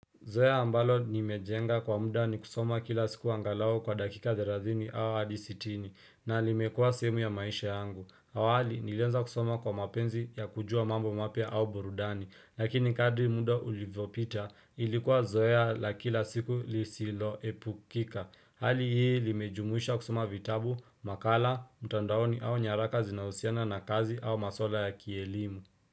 Mzoeo ambalo nimejenga kwa muda ni kusoma kila siku angalau kwa dakika thelathini au hadi sitini na limekua sehemu ya maisha yangu. Awali niliweza kusoma kwa mapenzi ya kujua mambo mapya au burudani. Lakini kadri muda ulivyopita ilikuwa Zoea la kila siku lisiloepukika. Hali hii limejumuisha kusoma vitabu, makala, mtandaoni au nyaraka zinahusiana na kazi au maswala ya kielimu.